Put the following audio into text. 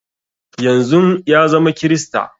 Yanzun ya zama krista